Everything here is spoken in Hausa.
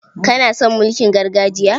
Kana son mulkin gargajiya?